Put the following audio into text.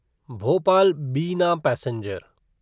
भोपाल बिना पैसेंजर